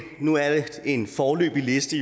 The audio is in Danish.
nu er en foreløbig liste